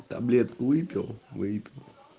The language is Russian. таблетку выпил вейп